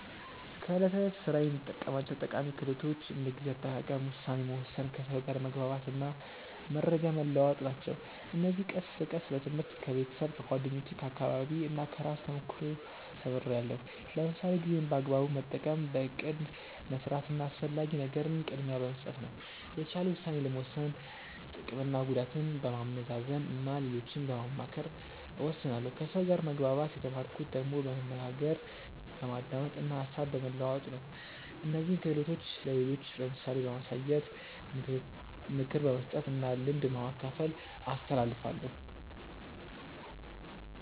በዕለት ተዕለት ሥራዬ የምጠቀማቸው ጠቃሚ ክህሎቶች እንደ ጊዜ አጠቃቀም፣ ውሳኔ መወሰን፣ ከሰው ጋር መግባባት እና መረጃ መለዋወጥ ናቸው። እነዚህን ቀስ በቀስ በትምህርት፣ ከቤተሰብ፣ ከጓደኞቼ፣ ከአካባቢዬ እና ከራሴ ተሞክሮ ተምርያለሁ። ለምሳሌ ጊዜን በአግባቡ መጠቀም በእቅድ መስራት እና አስፈላጊ ነገርን ቅድሚያ በመስጠት ነው። የተሻለ ውሳኔ ለመወሰን ጥቅምና ጉዳትን በማመዛዘን እና ሌሎችን በማማከር እወስናለሁ ከሰው ጋር መግባባት የተማርኩት ደግሞ በመነጋገር፣ በማዳመጥ እና ሀሳብ በመለዋወጥ ነው። እነዚህን ክህሎቶች ለሌሎች በምሳሌ በማሳየት፣ ምክር በመስጠት እና ልምድ በማካፈል አስተላልፋለሁ።